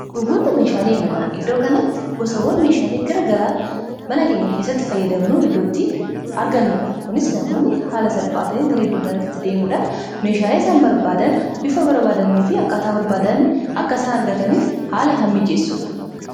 Gurgurtaa meeshaalee manaa iddoo kanatti gosawwan meeshaalee garagaraa mana keenya keessatti fayyadamnu iddootti argannuudha. Kunis namoonni haala salphaatan gara iddoo kanattti deemuudhaan meeshaalee isaan barbaadan bifa barbaadanii fi akkaataa barbaadan akka isaan argataniif haala haala mijeessudha.